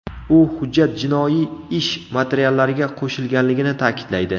U hujjat jinoiy ish materiallariga qo‘shilganligini ta’kidlaydi.